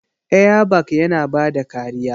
Airbag yana bada kariya.